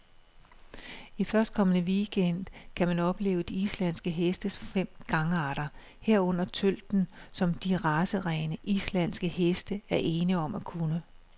I førstkommende weekend gang kan man opleve de islandske hestes fem gangarter, herunder tølten, som de racerene, islandske heste er ene om at kunne.